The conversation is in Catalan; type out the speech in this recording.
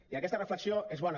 i aquesta reflexió és bona